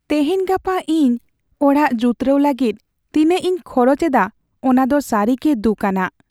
ᱛᱮᱦᱮᱧᱼᱜᱟᱯᱟ ᱤᱧ ᱚᱲᱟᱜ ᱡᱩᱛᱨᱟᱹᱣ ᱞᱟᱹᱜᱤᱫ ᱛᱤᱱᱟᱹᱜ ᱤᱧ ᱠᱷᱚᱨᱚᱪ ᱮᱫᱟ ᱚᱱᱟ ᱫᱚ ᱥᱟᱹᱨᱤ ᱜᱮ ᱫᱩᱠᱼᱟᱱᱟᱜ ᱾